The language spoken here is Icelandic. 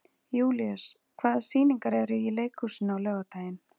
Júlíus, hvaða sýningar eru í leikhúsinu á laugardaginn?